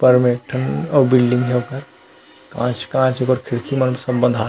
ऊपर में एक ठन और बिल्डिंग हे ओकर कांच-कांच ओकर खिड़की मन सब बँधाये हे ।